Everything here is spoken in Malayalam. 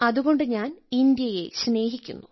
അതുകൊണ്ട് ഞാൻ ഇന്ത്യയെ സ്നേഹിക്കുന്നു